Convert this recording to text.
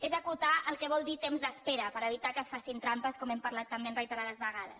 és acotar el que vol dir temps d’espera per evitar que es facin trampes com hem parlat també reiterades ve·gades